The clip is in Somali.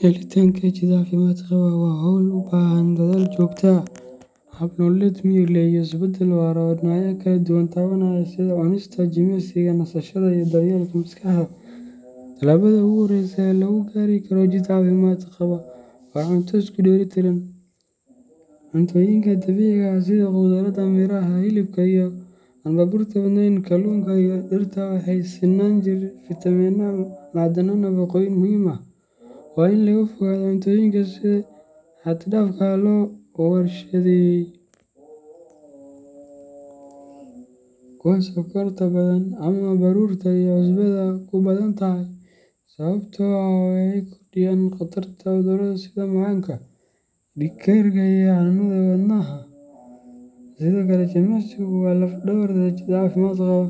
Helitaanka jidh caafimaad qaba waa hawl u baahan dadaal joogto ah, hab nololeed miyir leh, iyo isbedel waara oo dhinacyo kala duwan taabanaya sida cunista, jimicsiga, nasashada, iyo daryeelka maskaxda. Talaabada ugu horeysa ee lagu gaari karo jidh caafimaad qaba waa cunto isku dheelitiran. Cuntooyinka dabiiciga ah sida khudradda, miraha, hilibka aan baruurta badnayn, kalluunka, iyo digirta waxay siinayaan jirka fitamiinno, macdano, iyo nafaqooyin muhiim ah. Waa in laga fogaadaa cuntooyinka si xad dhaaf ah loo warshadeeyey, kuwa sonkorta badan leh, ama baruurta iyo cusbada ku badan tahay, sababtoo ah waxay kordhiyaan khatarta cudurrada sida macaanka, dhiig karka, iyo xanuunnada wadnaha. Sidoo kale, jimicsigu waa laf dhabarta jidh caafimaad qaba.